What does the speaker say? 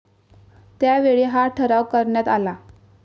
त्यावेळी हा ठराव करण्यात आला.